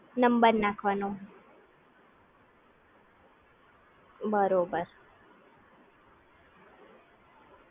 બરાબર, પછી તમે ફોને કેવી રીતે યુઝ કરવાનું એ પણ સમજાવી આપો